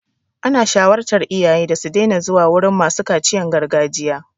An shawartar iyaye su daina zuwa wurin masu kaciyan gargajiya.